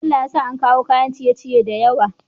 Bello ya sa an kawo kayan ciye ciye da yawa